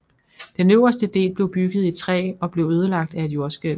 Den øverste del blev bygget i træ og blev ødelagt af et jordskælv